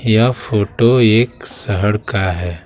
यह फोटो एकशहर का है ।